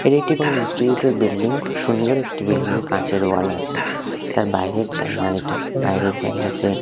এটি একটি কোনো ইনস্টিটিউটের বিল্ডিং খুব সুন্দর একটি বিল্ডিং কাঁচের ওয়াল আছে তার বাইরের জায়গা এটা বাইরের জায়গাতে--